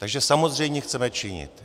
Takže samozřejmě chceme činit.